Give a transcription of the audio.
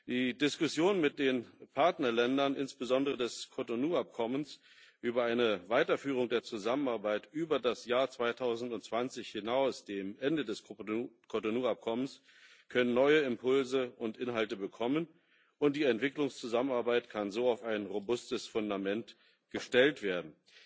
Die Diskussion mit den Partnerländern insbesondere des Cotonou Abkommens über eine Weiterführung der Zusammenarbeit über das Jahr 2020, das Ende des Cotonou Abkommens, hinaus kann neue Impulse und Inhalte bekommen, und die Entwicklungszusammenarbeit kann so auf ein robustes Fundament gestellt werden.